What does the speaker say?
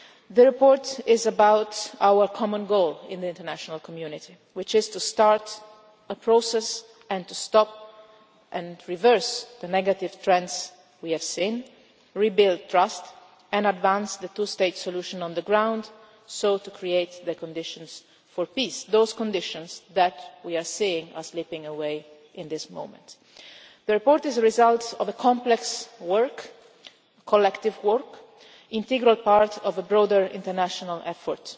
The report is about our common goal in the international community, which is to start a process and to stop and reverse the negative trends we have seen, to rebuild trust and to advance the two state solution on the ground in order to create the conditions for peace. We are seeing those conditions slipping away at the moment. The report is a result of complex, collective work and is an integral part of a broader international effort.